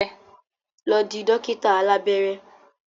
Lọ di dókítà alábẹ́rẹ́!